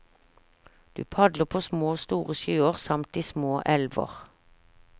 Du padler på små og store sjøer samt i små elver.